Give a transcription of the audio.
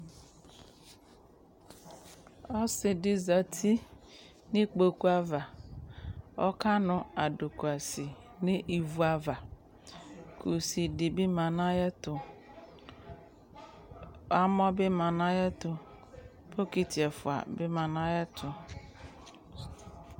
ɔsidi zɛti nʋ ikpokʋ aɣa ɔkanu adʋkʋasi nʋ ivʋ aɣa ku kʋsi di bi manʋ ayɛtʋ amɔ bi manʋ ayɛtʋ bokiti ɛƒʋa bi manʋ ayɛtu